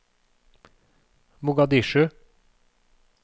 Mogadishu